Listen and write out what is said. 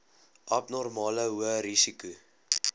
abnormale hoë risiko